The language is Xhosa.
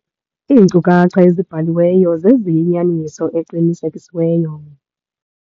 Iinkcukacha ezibhaliweyo zeziyinyaniso eqinisekisiweyo.